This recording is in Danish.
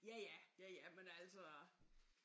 Ja ja ja ja men altså